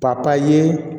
papaye